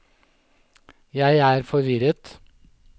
jeg er forvirret